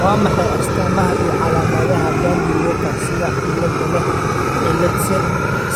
Waa maxay astaamaha iyo calaamadaha Dandy Walker sida cilladda leh cillad